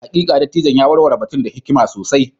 Hakika, dattijon ya warware batun da hikima sosai.